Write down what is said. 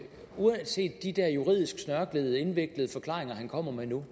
uanset de der juridisk snørklede indviklede forklaringer han kommer med nu